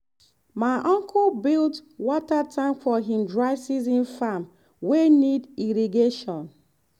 my uncle build water tank for him dry season farm wey need irrigation.